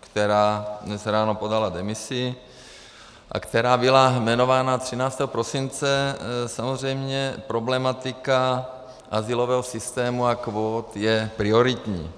která dnes ráno podala demisi a která byla jmenována 13. prosince, samozřejmě problematika azylového systému a kvót je prioritní.